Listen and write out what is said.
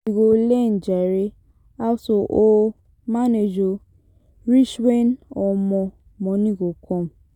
You go learn jare how to o manage o, reach wen omo moni go come.